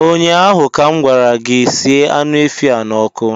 Ụnyaahụ ka m gwara gị, sie anụ efi a n'ọkụ!